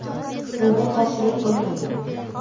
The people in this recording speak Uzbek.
Bunga qarshilik qilmaydi.